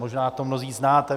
Možná to mnozí znáte.